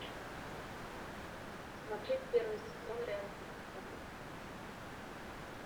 смотреть первый сезон реальные пацаны